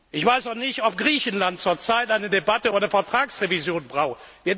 Ich weiß auch nicht, ob Griechenland zurzeit eine Debatte über die Vertragsrevision braucht.